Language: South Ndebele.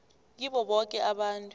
kibo boke abantu